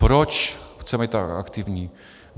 Proč chceme být tak aktivní?